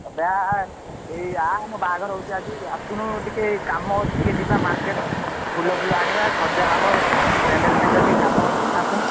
ଏବେ ଆ ଏଇ ଆ ଆମ ବାହାଘର ହଉଛି ଆଜି ଆସୁନୁ ଟିକେ କାମ ଅଛି ଟିକେ ଯିବା market ଫୁଲ ଫୁଲ ଆଣିବା ସଜା ହବ ଫ୍ୟାନଡେଲ ଟିକେ କାମ ଅଛି ଆସୁନୁ।